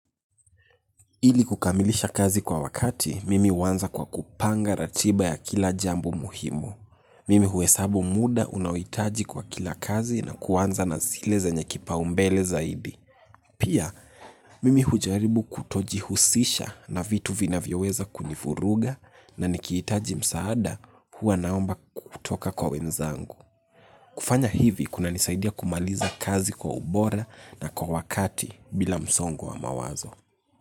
Ili kukamilisha kazi kwa wakati, mimi huanza kwa kupanga ratiba ya kila jambo muhimu. Mimi hu hesabu muda unaohitaji kwa kila kazi na ku anza na zile zenye kipau mbele zaidi. Pia, mimi hujaribu kutoji husisha na vitu vina vinayoweza kunivuruga na nikihitaji msaada huwa naomba kutoka kwa wenzangu. Kufanya hivi, kunanisaidia kumaliza kazi kwa ubora na kwa wakati bila msongo wa mawazo.